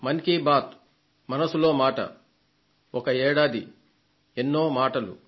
మన్ కీ బాత్ మనసులో మాట లో ఒక సంవత్సరంలో ఎన్నెన్నో మాటలు